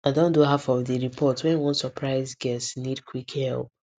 i don do half of the report when one surprise guest need quick help